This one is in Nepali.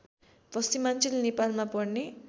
पश्चिमाञ्चल नेपालमा पर्ने